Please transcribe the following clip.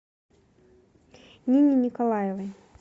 нине николаевой